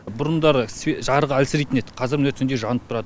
бұрындары жарық әлсірейтін еді қазір міне түнде жанып тұрады